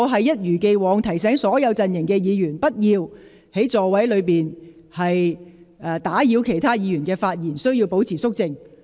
一如既往，我提醒所有陣營的議員不要在座位上打斷其他議員的發言，並須保持肅靜。